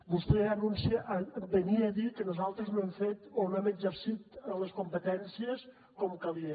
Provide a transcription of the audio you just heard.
vostè venia a dir que nosaltres no hem fet o no hem exercit les competències com calia